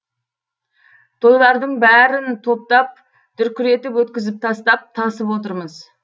тойлардың бәрін топтап дүркіретіп өткізіп тастап тасып отырмыз